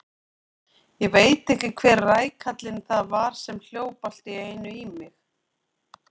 Ég veit ekki hver rækallinn það var sem hljóp allt í einu í mig.